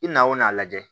I na o n'a lajɛ